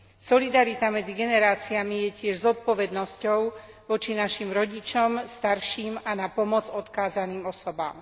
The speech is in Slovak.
Solidarita medzi generáciami je tiež zodpovednosťou voči našim rodičom, starším a na pomoc odkázaným osobám.